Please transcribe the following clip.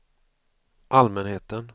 allmänheten